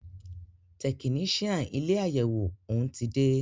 Tẹkinician ilé àyẹwò òún ti dé.